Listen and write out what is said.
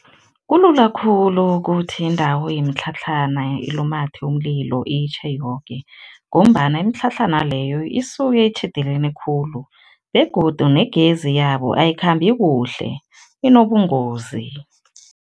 Kulula khulu ukuthi indawo yemitlhatlhana ilumathe umlilo, itjhe yoke ngombana imitlhatlhana leyo isuke itjhidelene khulu begodu negezi yabo ayikhambi kuhle, inobungozi.